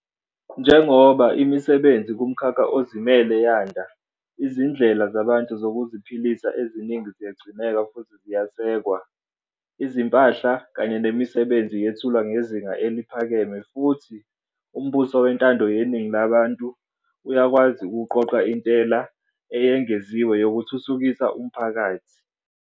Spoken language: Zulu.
Njengoba imisebenzi kumkhakha ozimele yanda, izindlela zabantu zokuziphilisa eziningi ziyagcineka futhi ziyesekwa. Izimpahla kanye nemisebenzi yethulwa ngezinga eliphakeme futhi umbuso wentando yeningi labantu uyakwazi ukuqoqa intela eyengeziwe yokuthuthukisa umphakathi.